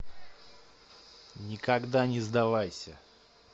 никогда не сдавайся